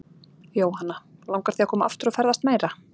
Jóhanna: Langar þig að koma aftur og ferðast meira?